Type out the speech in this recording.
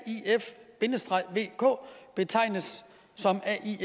vk’er betegnes